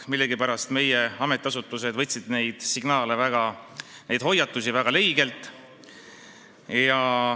Millegipärast aga võtsid meie ametiasutused neid signaale ja hoiatusi väga leigelt.